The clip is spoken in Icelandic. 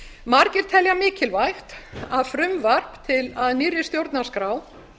margir telja mikilvægt að frumvarp að nýrri stjórnarskrá